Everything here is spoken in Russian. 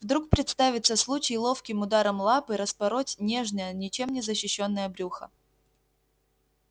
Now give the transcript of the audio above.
вдруг представится случай ловким ударом лапы распороть нежное ничем не защищённое брюхо